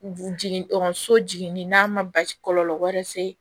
Jigin ɔkɔliso jiginni n'a ma basi kɔlɔlɔ wɛrɛ se